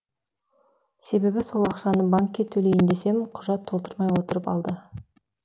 себебі сол ақшаны банкке төлейін десем құжат толтырмай отырып алды